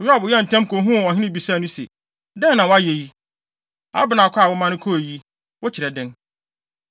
Yoab yɛɛ ntɛm kohuu ɔhene bisaa no se, “Dɛn na woayɛ yi? Abner kɔ a womaa no kɔe yi, wokyerɛ dɛn?